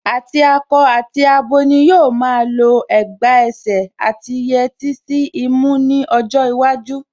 Àti akọ àti abo ni yóò máa lọ ẹ̀gbà ẹsẹ̀ àti yẹtí sí imú ní ọjọ́ iwájú